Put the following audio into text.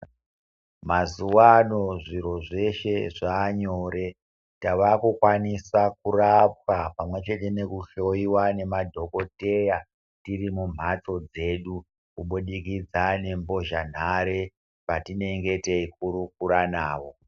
Mazuwa ano zviro zveshe zvaanyore tava kukwanisa kurapwa pamwe chete nekuhloiwa ngema dhokodheya tiri mumhatso dzedu kubudikidza ngembozhanhare patinenge teikurukura navo.